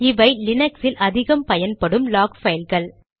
இவை லீனக்ஸில் அதிகம் பயன்படும் லாக் பைல்கள்